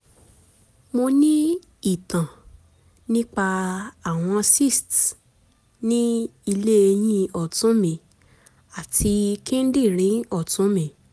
mo ti ní ìtàn nípa àwọn cysts ní ilé ẹyin ọ̀tún mi àti kíndìnrín ọ̀tún mi